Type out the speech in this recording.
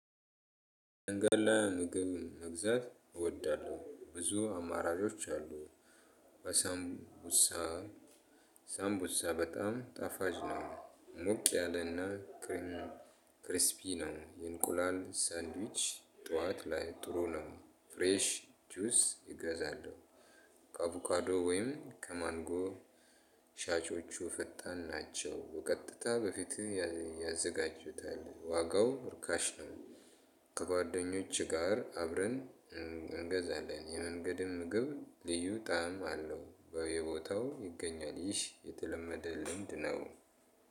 መንገድ ላይ ምግብ መግዛት እወዳለሁ። ብዙ አማራጮች አሉ። አሳምቡሳ ሳምቡሳ በጣም ጣፋጭ ነው። ሞቅ ያለና ክሪስፒን ነው። የእንቁላል ሳንድዊች ጠዋት ላይ ጥሩ ነው። ፍሬሽ ጁስ እገዛለሁ ከአቮካዶ ወይም ከማንጎ ሻጮቹ ፍጣን ናቸው። በቀጥታ በፊትህ ያዘጋጁታል። ዋጋው እርካሽ ነው ከጓደኞችህ ጋር አብረን እንገዛለን። የመንገድም ምግብ ልዩ ጣዕም አለው። በየቦታው ይገኛል። ይህ የተለመደ ልምድ ነው።